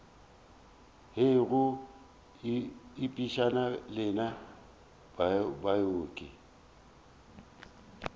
hei go ipshina lena baoki